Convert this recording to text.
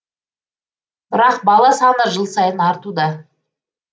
бірақ бала саны жыл сайын артуда